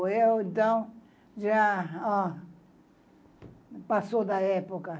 Eu, então, já, ó... passou da época.